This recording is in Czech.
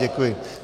Děkuji.